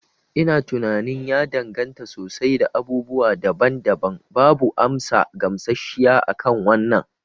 Ina tunanin ya danganta sosai da abubuwa daban daban. Babu amsa gamshashshiya akan wannan